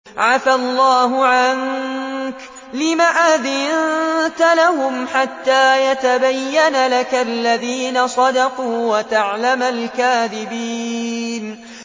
عَفَا اللَّهُ عَنكَ لِمَ أَذِنتَ لَهُمْ حَتَّىٰ يَتَبَيَّنَ لَكَ الَّذِينَ صَدَقُوا وَتَعْلَمَ الْكَاذِبِينَ